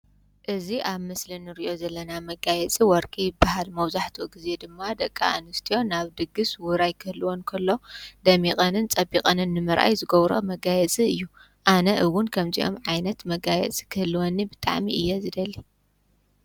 እዚ ኣብ ምስሊ ንርእዮ ዘለና መጋየፂ ወርቂ ይበሃል። መብዛሕትኡ ግዜ ድማ ደቂ ኣንስትዮ ናብ ድግስ ውራይ ክህልወን እንከሎ ደሚቐንን ፀቢቐንን ንምርኣይ ዝገብረኦ መጋየፂ እዩ። ኣነ እውን ከምዚኦም ዓይነት መጋየጺ ክህልወኒ ብጣዕሚ እየ ዝደሊ።